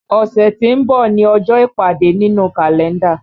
Ọ̀ṣẹ̀ tí ń bọ̀ ni ọjọ́ ìpàdé nínú Kalenda